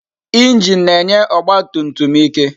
Injin na-enye ọgba tum tum ike.